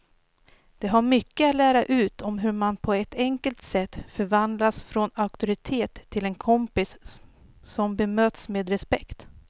De har mycket att lära ut om hur man på ett enkelt sätt förvandlas från auktoritet till en kompis som bemöts med respekt.